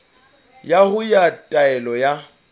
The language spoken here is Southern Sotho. ya hao ya taelo ya